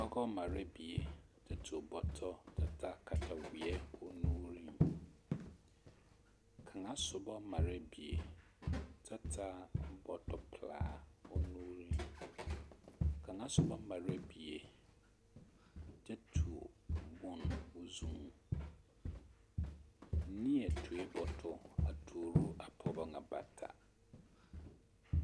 Pɔgɔ marɛɛ bie ta tuo bɔtɔ ta taa kataweɛ o nuuriŋ, kaŋa sobɔ marɛɛ bie ta taa bɔtɔ pelaa o nuuriŋ, kaŋa soba marɛɛ bie kyɛ tuo bone o zuŋ, neɛ tuoe bɔtɔ a tuuro a pɔgebɔ ŋa bata.